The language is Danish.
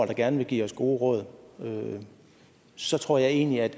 gerne vil give os gode råd så tror jeg egentlig at